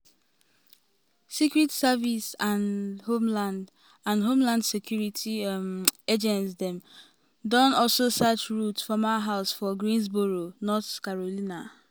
secret service and homeland and homeland security um agents don um also search routh former house for greensboro north carolina.